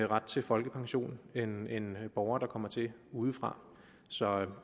ret til folkepension end end borgere der kommer til udefra så